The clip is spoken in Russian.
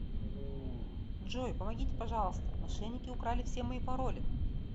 джой помогите пожалуйста мошенники украли все мои пароли